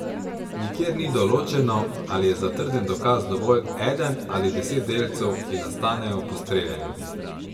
Nikjer ni določeno, ali je za trden dokaz dovolj eden ali deset delcev, ki nastanejo po streljanju.